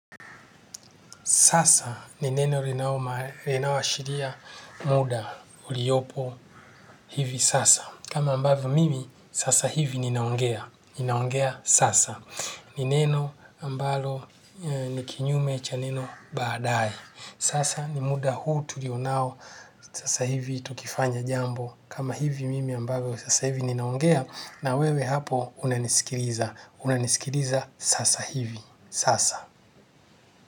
Sasa ni neno linaloashiria muda uliopo hivi sasa. Kama ambavyo mimi, sasa hivi ninaongea. Ninaongea sasa. Ni neno ambalo ni kinyume cha neno baadaye. Sasa ni muda huu tulionayo. Sasa hivi tukifanya jambo. Kama hivi mimi ambavu sasa hivi ninaongea. Na wewe hapo unanisikiliza. Unanisikiriza sasa hivi. Sasa.